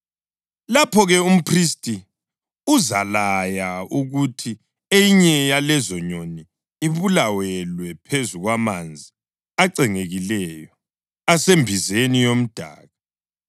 Lapho-ke umphristi uzalaya ukuthi eyinye yalezo nyoni ibulawelwe phezu kwamanzi acengekileyo, asembizeni yomdaka.